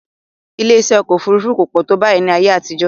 Ilé-iṣẹ́ ọkọ̀ òfurufú kò pọ̀ tó báyìí ní ayé àtijọ́